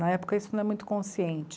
Na época, isso não é muito consciente.